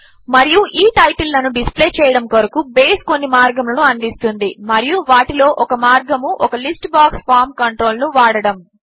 మరియు ఈ టైటిల్ లను డిస్ప్లే చేయడము కొరకు బేస్ కొన్ని మార్గములను అందిస్తుంది మరియు వాటిలో ఒక మార్గము ఒక లిస్ట్ బాక్స్ ఫార్మ్ కంట్రోల్ ను వాడడము